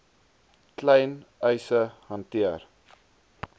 klein eise hanteer